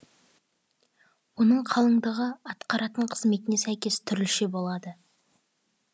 оның қалыңдығы атқаратын қызметіне сәйкес түрліше болады